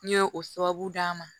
N ye o sababu d'an ma